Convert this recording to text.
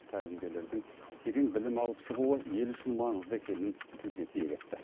тәлімгерлердің терең білім алып шығуы ел үшін маңызды екенін тілге тиек етті